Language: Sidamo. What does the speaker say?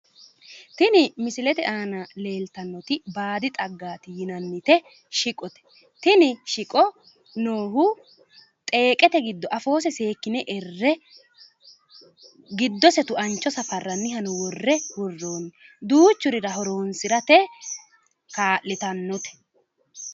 tini misilete aana leeltannoti baadi xaggaati yinannite shiqote tini shiqo noohu xeeqete giddo afoose seekkine erre giddose tuancho safarrannihano worre worroonni duuchurira horonsirate kaa'litannote